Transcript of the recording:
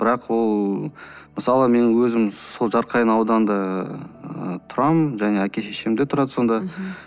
бірақ ол мысалы мен өзім сол жарқайың ауданында ыыы тұрамын және әке шешем де тұрады сонда мхм